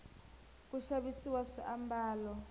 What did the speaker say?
ku xavisiwa swiambalo